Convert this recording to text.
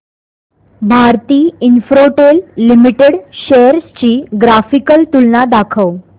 Bharti Infratel limited shares ची graphical तुलना दाखव